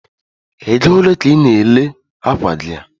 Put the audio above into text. Egole ka i na-ere akwa gi a?